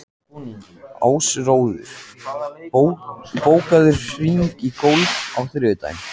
Ásröður, bókaðu hring í golf á þriðjudaginn.